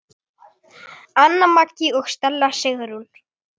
Anna Maggý og Selma Sigrún.